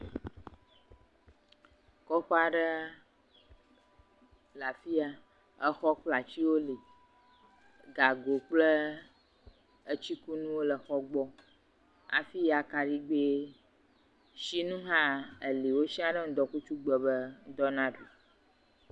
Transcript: Kɔƒea aɖe le afi ya exɔ kple atiwo le, gago kple etsikunuwo le xɔ gbɔ, afi akaɖigbesinu hã le wosia ɖe ŋdɔkutugbe be ŋdɔ naɖu.